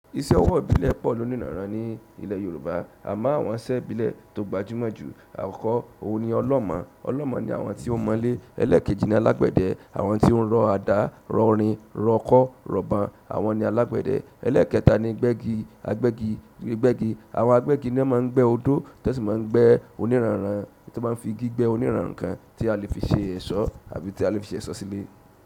Iṣẹ́ ọwọ́ ìbílẹ̀ pọ̀ ló níranran ní ilẹ̀ Yorùbá. Àmá àwọn iṣẹ́ ìbílẹ̀ tó gbajúmọ̀ jù, àkọ́kọ́ òun ni ọlọ́mọ̀. Ọlọ́mọ̀ ni àwọn tí ó mọlé. Ẹlẹ́ẹ̀kejì ni alágbẹ̀dẹ. Àwọn tí ó ń rọ àdá, rọ orin, rọ ọkọ́, rọ̀ban, àwọn ni alágbẹ̀dẹ. Ẹlẹẹkẹta ni gbẹ́gi, agbẹ́gi, gbẹ́gi. Àwọn agbẹ́gi ni wọ́n máa ń gbẹ́ odó, tí wọ́n sì máa ń gbẹ́ oníràran, tí wọ́n fi gé gbẹ́ oníràran kan tí a lè fi ṣe ẹ̀ṣọ́ àbí tí a lè fi ṣe ẹ̀ṣọ́ sílẹ̀.